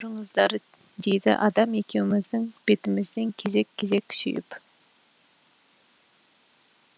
кеп тұрыңыздар дейді анам екеуміздің бетімізден кезек кезек сүйіп